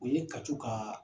U ye ka co ka